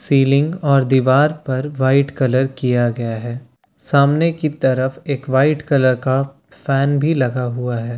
Ceiling और दीवार पर वाइट कलर किया गया है सामने की तरफ एक वाइट कलर का फैन भी लगा हुआ है।